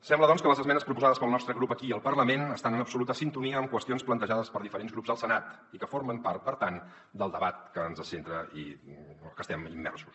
sembla doncs que les esmenes proposades pel nostre grup aquí al parlament estan en absoluta sintonia amb qüestions plantejades per diferents grups al senat i que formen part per tant del debat que ens centra i en el qual estem immersos